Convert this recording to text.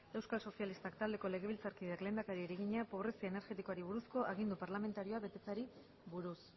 euskal sozialistak taldeko legebiltzarkideak lehendakariari egina pobrezia energetikoari buruzko agindu parlamentarioa betetzeari buruz